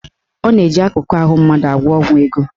Ọ na-eji akụkụ ahụ mmadụ agwọ ọgwụ ego.